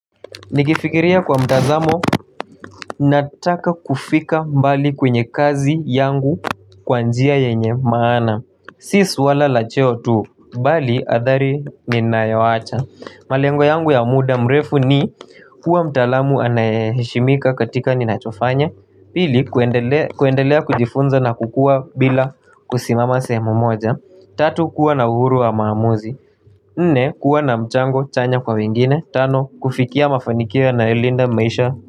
Nikifikiria kwa mtazamo, nataka kufika mbali kwenye kazi yangu kwanjia yenye maana. Si suala lacheo tu, bali adhari ninayoacha. Malengo yangu ya muda mrefu ni kuwa mtalamu anayeheshimika katika ninachofanya. Pili kuendelea kujifunza na kukua bila kusimama sehemu moja. Tatu kuwa na uhuru wa maamuzi nne kuwa na mchango chanya kwa wengine tano. Kufikia mafanikio yanalinda maisha.